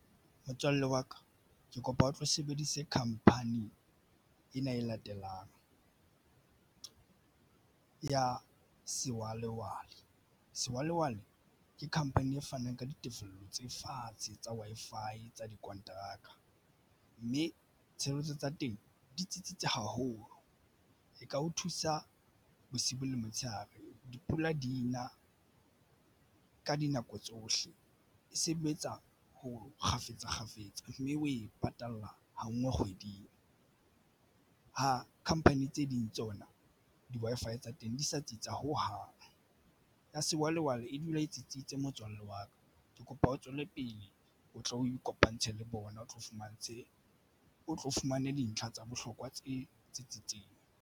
Motswalle wa ka ke kopa o tlo sebedise khamphani ena e latelang ya Sewalewale. Sewalewale ke company e fanang ka ditefello tse fatshe tsa Wi-Fi tsa dikonteraka mme tshebeletso tsa teng di tsitsitse haholo. E ka o thusa bosibu le motshehare. Dipula di na ka dinako tsohle e sebetsa ho kgafetsa kgafetsa mme o e patala ha nngwe kgweding ha company tse ding tsona di-Wi-Fi tsa teng di sa tsitsa hohang ya Sewalewale e dula e tsitsitse motswalle wa ka ke kopa o tswele pele o tlo ikopantshe le bona o tlo fumantshe o tlo fumane dintlha tsa bohlokwa tse tsitsitseng.